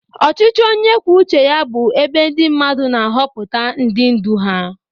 Ọchịchị onye kwuo uche ya bụ ebe ndị mmadụ na-ahọpụta ndị ndu ha.